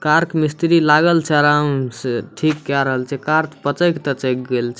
Car क मिस्त्री लागल छे आराम से ठिक कय रल छे कार पचक-तचक गेल छे।